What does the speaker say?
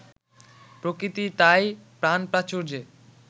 প্রকৃতি তাই প্রাণপ্রাচুর্যে